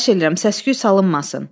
Xahiş eləyirəm, səs-küy salınmasın.